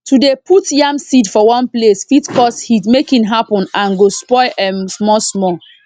to dey put yam seed for one place fit cause heat make e happen and go spoil m small small